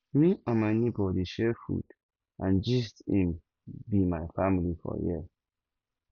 me and my nebor dey share food and gist im be my family for here